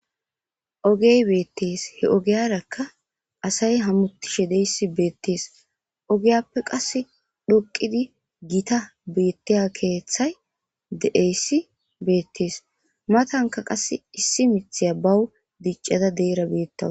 ogey beettees he ogeyarakka asay hamutishe deysi beettees ogiyappe qas dhoqidi gita beettiya keeththay deeyssi beettees matanka qass issi mithiya bawu diccada deera beettawa